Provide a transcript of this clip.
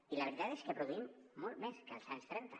i la veritat és que produïm molt més que als anys trenta